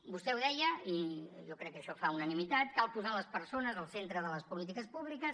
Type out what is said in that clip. vostè ho deia i jo crec que això fa unanimitat cal posar les persones al centre de les polítiques públiques